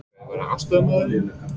Hver verður aðstoðarmaður þinn?